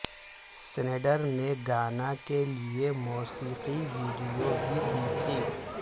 Snyder نے گانا کے لئے موسیقی ویڈیو بھی دی تھی